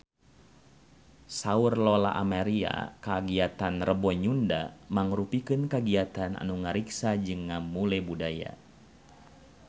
Saur Lola Amaria kagiatan Rebo Nyunda mangrupikeun kagiatan anu ngariksa jeung ngamumule budaya Sunda